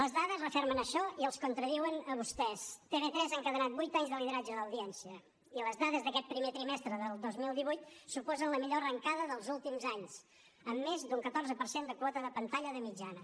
les dades refermen això i els contradiuen a vostès tv3 ha encadenat vuit anys de lideratge d’audiència i les dades d’aquest primer trimestre del dos mil divuit suposen la millor arrencada dels últims anys amb més d’un catorze per cent de quota de pantalla de mitjana